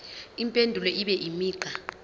impendulo ibe imigqa